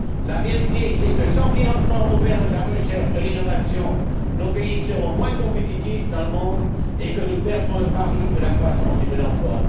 La vérité est que, sans financement européen de la recherche et de l'innovation, nos pays seront moins compétitifs dans le monde et que nous perdrons le pari de la croissance et de l'emploi.